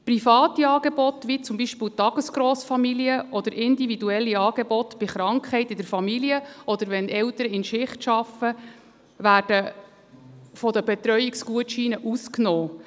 Private Angebote wie zum Beispiel Tagesgrossfamilien, oder individuelle Angebote bei Krankheit in der Familie oder wenn Eltern in Schicht arbeiten, werden von den Betreuungsgutscheinen ausgenommen.